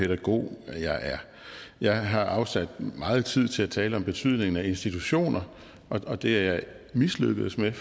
pædagog jeg er jeg har afsat meget tid til at tale om betydningen af institutioner og det er jeg mislykkedes med